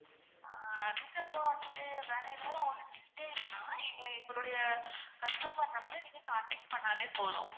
ஆஹ் அதுக்கு அப்புறம் வந்துட்டு வேற ஏதாவது உங்களுக்கு எங்கள் எங்களுடைய customer number அ நீங்க contact பண்ணாலே போதும்.